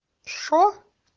что